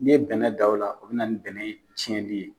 Ni ye bɛnɛ dan o la, o bɛna na nin bɛnɛ tiɲɛli ye.